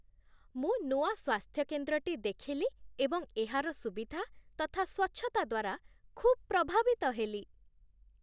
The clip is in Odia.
ମୁଁ ନୂଆ ସ୍ୱାସ୍ଥ୍ୟ କେନ୍ଦ୍ରଟି ଦେଖିଲି ଏବଂ ଏହାର ସୁବିଧା ତଥା ସ୍ୱଚ୍ଛତା ଦ୍ୱାରା ଖୁବ୍ ପ୍ରଭାବିତ ହେଲି।